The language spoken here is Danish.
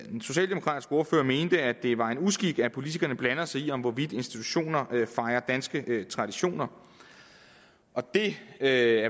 den socialdemokratiske ordfører mente at det var en uskik at politikerne blander sig i om institutioner fejrer danske traditioner og det er